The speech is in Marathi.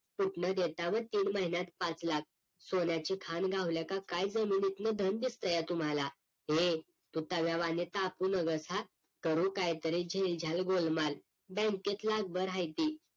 कुठलं देता हो तीन महिन्यात पाच लाख? सोन्याची खान घावल्या का काय धन दिसतंय तुम्हाला ये तू तव्यावणी तापू नकोस हं करू कायतरी झेल झाल गोल माल बँकेत लाख भर हायती